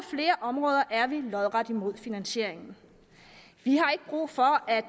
flere områder er vi lodret imod finansieringen vi har ikke brug for at